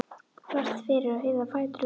þvert fyrir og hirða fætur vel.